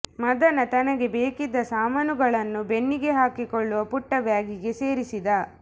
ಮದನ ತನಗೆ ಬೇಕಿದ್ದ ಸಾಮಾನುಗಳನ್ನು ಬೆನ್ನಿಗೆ ಹಾಕಿಕೊಳ್ಳುವ ಪುಟ್ಟ ಬ್ಯಾಗಿಗೆ ಸೇರಿಸಿದ